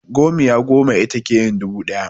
Gomiya goma ita take yin dubu ɗaya.